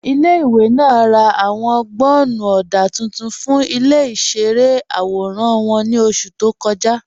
Ilẹ̀-ìwé náà rá ạwọn gbọ́nnú ọdá tuntun fún ilẹ̀-ìṣẹ̀rẹ̀ awóran wọn ní oṣù tó kọ́jà.